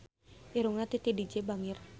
Irungna Titi DJ bangir